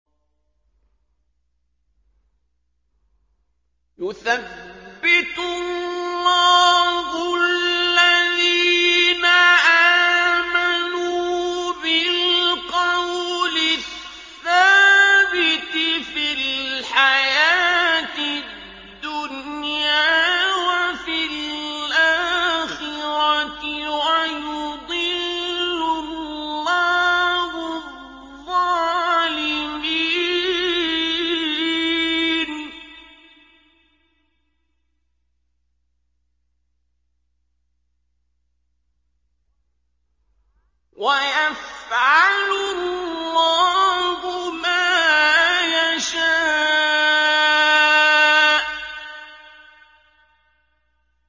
يُثَبِّتُ اللَّهُ الَّذِينَ آمَنُوا بِالْقَوْلِ الثَّابِتِ فِي الْحَيَاةِ الدُّنْيَا وَفِي الْآخِرَةِ ۖ وَيُضِلُّ اللَّهُ الظَّالِمِينَ ۚ وَيَفْعَلُ اللَّهُ مَا يَشَاءُ